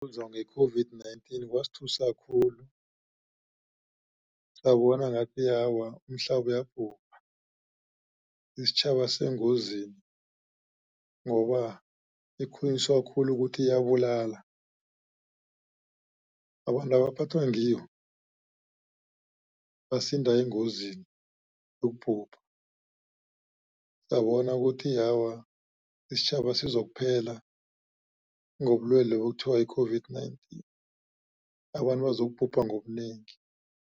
Ukuzwa nge-COVID-19 kwasuthisa khulu sabona ngathi awa umhlaba uyabhubha isitjhaba sengozini ngoba ikhulunyiswa khulu ukuthi iyabulala abantu abaphathwa ngiyo basinda engozini yokubhubha. Uyabona ukuthi awa isitjhaba sizokuphela ngobulwelobu okuthiwa yi-COVID-19 abantu bazokubhubha ngobunengi.